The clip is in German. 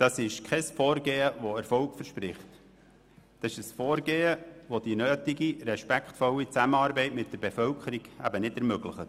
Dies ist kein erfolgversprechendes Vorgehen, sondern ein Vorgehen, welches die notwendige respektvolle Zusammenarbeit mit der Bevölkerung nicht ermöglicht.